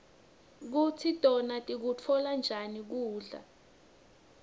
kutsi tona tikutfola njani kubla